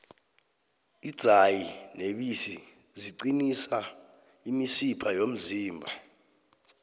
idzayi nebisi ziqinisa imisipha yomzimba